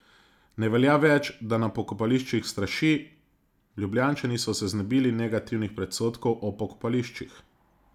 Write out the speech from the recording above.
Ne velja več, da na pokopališčih straši, Ljubljančani so se znebili negativnih predsodkov o pokopališčih.